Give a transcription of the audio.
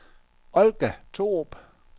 Olga Thorup